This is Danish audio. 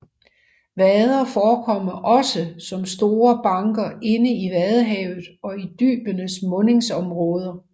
Vader forekommer også som store banker inde i Vadehavet og i dybenes mundingsområder